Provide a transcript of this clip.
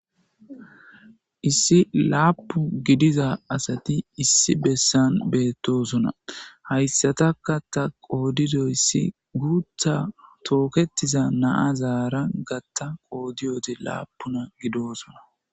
Issi lapun gidiza asati issi bessan bettosona. haysataka ta qodidoysi gutha toketiza nazara gatha ta qodode lapun gidosona